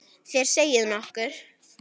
Þér segið nokkuð!